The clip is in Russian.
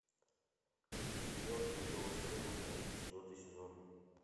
мертвые до востребования четвертый сезон